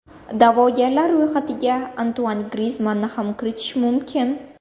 Da’vogarlar ro‘yxatiga Antuan Grizmanni ham kiritish mumkin.